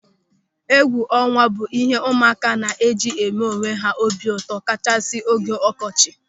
Egwuọnwa bụ ịhe ụmụaka na-eji eme onwe ha obi ụtọ kachasị n'oge ọkọchị.